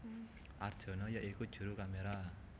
Arjono ya iku juru kaméra